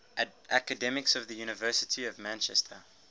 academics of the university of manchester